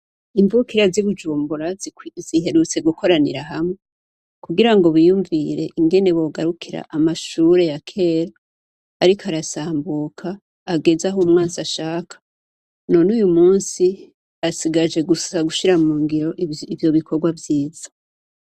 Imvukira zi Bujumbura ziherutse gukoranira hamwe kugira biyumvire ingene bogarukira amashure yakera ariko arasambuka ageze aho umwansi ashaka numunsi hasigaye gusa gushira mungiro ivyo bikorwa vyiza.